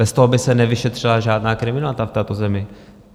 Bez toho by se nevyšetřila žádná kriminalita v této zemi.